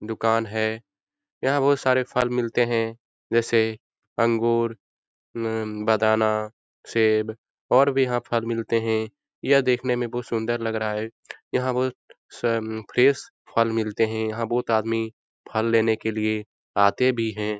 दुकान है यहाँ बहुत सारे फल मिलते हैं जैसे अंगूर बदाना सेब और भी यहाँ फल मिलते हैं यह देखने में बहुत सुंदर लग रहा है यहाँ बहुत फ्रेश फल मिलते है यहाँ बहुत आदमी फल लेने के लिए आते भी हैं ।